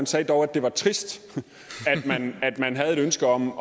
sagde dog at det var trist at man havde et ønske om